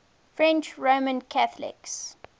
french roman catholics